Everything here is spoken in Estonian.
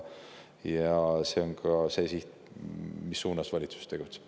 See on siht, mille valitsus tegutseb.